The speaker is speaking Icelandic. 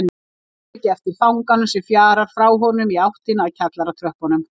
Tekur ekki eftir fanganum sem fjarar frá honum í áttina að kjallaratröppunum.